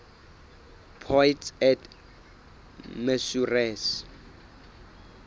poids et mesures